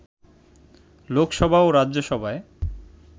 লোকসভা ও রাজ্যসভায়